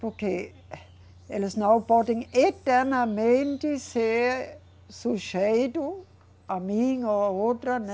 Porque eles não podem eternamente ser sujeito a mim ou a outra, né.